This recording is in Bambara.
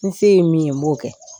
N fse ye min ye n b'o kɛ.